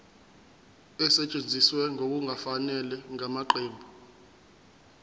esetshenziswe ngokungafanele ngamaqembu